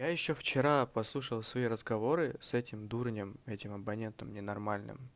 я ещё вчера послушал свои разговоры с этим дурнем с этим абонентом ненормальным